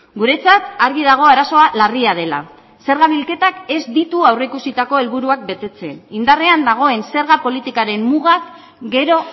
guretzat argi dago arazoa larria dela zerga bilketak ez ditu aurreikusitako helburuak betetzen indarrean dagoen zerga politikaren mugak gero